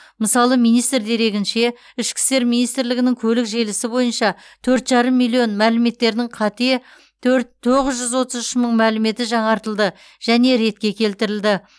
мысалы министр дерегінше ішкі істер министрлігінің көлік желісі бойынша төрт жарым миллион мәліметтердің қате төрт тоғыз жүз отыз үш мың мәліметі жаңартылды және ретке келтірілді